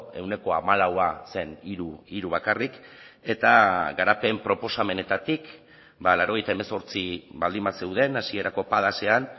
ehuneko hamalaua zen hiru bakarrik eta garapen proposamenetatik laurogeita hemezortzi baldin bazeuden hasierako padasean